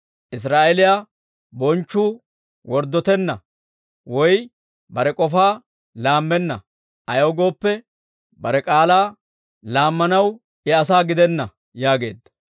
Israa'eeliyaa Bonchchuu worddotenna, woy bare k'ofaa laammenna; ayaw gooppe, bare k'aalaa laammanaw I asaa gidenna» yaageedda.